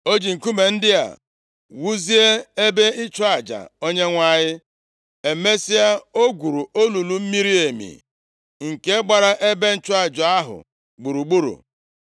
O ji nkume ndị a wuzie ebe ịchụ aja Onyenwe anyị. Emesịa, o gwuru olulu miri emi, nke gbara ebe ịchụ aja ahụ gburugburu.